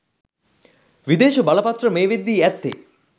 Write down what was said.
විදේශ බලපත්‍ර මේ වෙද්දී ඇත්තේ